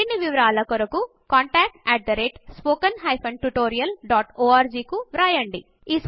మరిన్ని వారాలకు కొరకు contactspoken tutorialorg కు వ్రాయండి